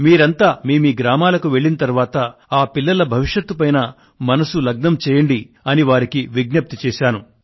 మీరంతా మీమీ గ్రామాలకు వెళ్లిన తరువాత ఆ పిల్లల భవిష్యత్ పైన మనస్సును లగ్నం చేయండి అని వారికి విజ్ఞప్తి చేశాను